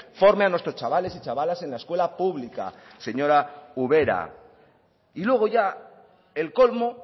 forme a nuestros chavales y chavalas en la escuela pública señora ubera y luego ya el colmo